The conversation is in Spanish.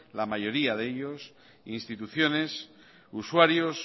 la mayoría de ellos instituciones usuarios